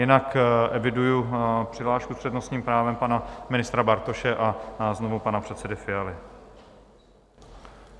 Jinak eviduji přihlášku s přednostním právem pana ministra Bartoška a znovu pana předsedy Fialy.